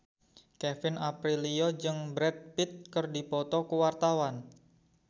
Kevin Aprilio jeung Brad Pitt keur dipoto ku wartawan